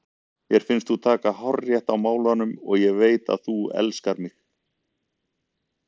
Mér finnst þú taka hárrétt á málunum og ég veit að þú elskar mig.